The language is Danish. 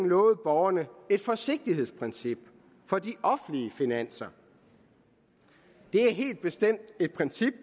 lovet borgerne et forsigtighedsprincip for de offentlige finanser det er helt bestemt et princip